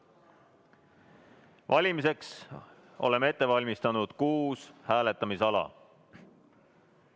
Valimiseks oleme ette valmistanud kuus hääletamisala.